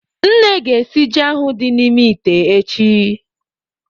Nne ga-esi ji ahụ dị n'ime ite echi.